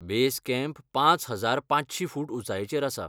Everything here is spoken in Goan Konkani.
बेस कॅम्प पांच हजार पांचशी फूट उंचायेचेर आसा.